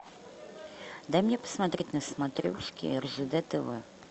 дай мне посмотреть на смотрешке ржд тв